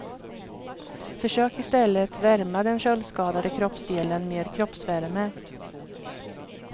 Försök istället värma den köldskadade kroppsdelen med kroppsvärme.